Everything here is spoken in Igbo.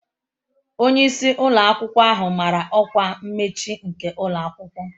Onye isi ụlọ akwụkwọ ahụ mara ọkwa mmechi nke ụlọ akwụkwọ